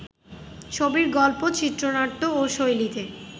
ছবির গল্প, চিত্রনাট্য ও শৈলীতে